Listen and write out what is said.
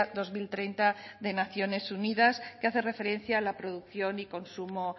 dos mil treinta de naciones unidas que hace referencia a la producción y consumo